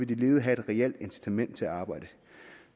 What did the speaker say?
de ledige have et reelt incitament til at arbejde